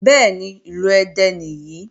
Bẹ́ẹ̀ni, ìlú Ẹdẹ nìyí.